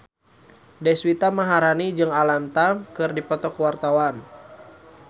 Deswita Maharani jeung Alam Tam keur dipoto ku wartawan